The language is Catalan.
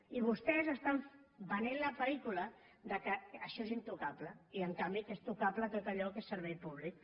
i vostès estan venent la pel·lícula que això és intocable i en canvi que és tocable tot allò que és servei públic